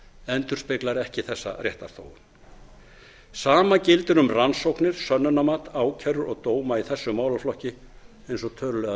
endurspeglar ekki þessa réttarþróun sama gildir um rannsóknir sönnunarmat ákærur og dóma í þessum málaflokki eins og tölulegar